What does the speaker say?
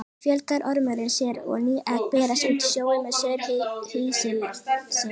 Þar fjölgar ormurinn sér og ný egg berast út í sjóinn með saur hýsilsins.